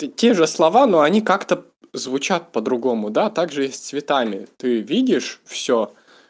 те же слова но они как-то звучат по-другому да также и с цветами ты видишь всё